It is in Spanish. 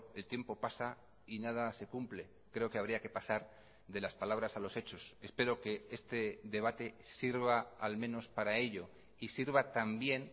el tiempo pasa y nada se cumple creo que habría que pasar de las palabras a los hechos espero que este debate sirva al menos para ello y sirva también